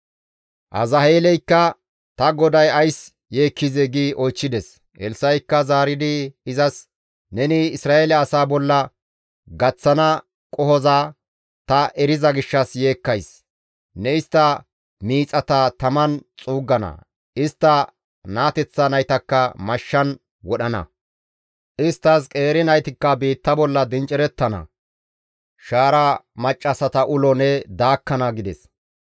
Azaheeleykka, «Ta goday ays yeekkizee?» gi oychchides. Elssa7ikka zaaridi izas, «Neni Isra7eele asaa bolla gaththana qohoza ta eriza gishshas yeekkays; ne istta miixata taman xuuggana; istta naateththa naytakka mashshan wodhana; isttas qeeri naytakka biitta bolla dinccereththana; shaara maccassata ulo ne daakkana» gides.